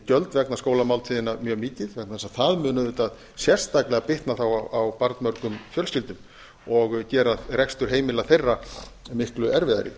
gjöld vegna skólamáltíðanna mjög mikið vegna þess að það mun auðvitað sérstaklega bitna þá á barnmörgum fjölskyldum og gera rekstur heimila þeirra miklu erfiðari